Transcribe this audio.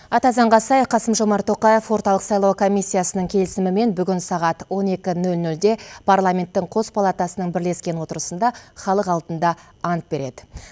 ата заңға сай қасым жомарт тоқаев орталық сайлау комиссиясының келісімімен бүгін сағат он екі нөл нөлде парламенттің қос палатасының бірлескен отырысында халық алдында ант береді